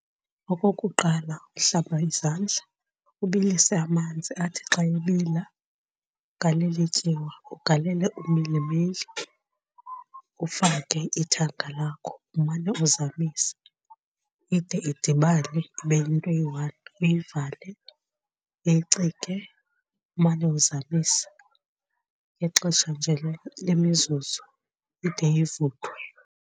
Okokuqala, uhlamba izandla ubilise amanzi athi xa ebila ugalele ityiwa, ugalele umilimili, ufake ithanga lakho umane uzamisa ide idibane ibe yinto eyi-one uyivale uyicike umane uwuzamisa ngexesha nje lemizuzu ide ivuthwe.